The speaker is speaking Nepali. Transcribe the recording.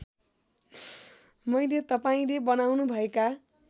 मैले तपाईँले बनाउनुभएका